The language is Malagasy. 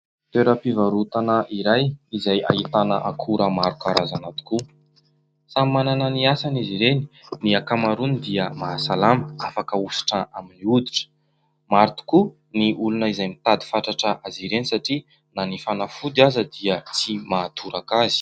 Toeram-pivarotana iray izay ahitana akora marokarazana tokoa . Samy manana ny asany izy ireny ny akamaroany dia mahasalama afaka ohositra amin'ny hoditra maro tokoa ny olona izay mitady fatratra azy ireny satria na ny fanafody aza dia tsy mahatoraka azy.